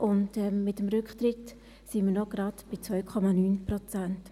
Mit dem Rücktritt sind wir gerade noch auf 2,9 Prozent.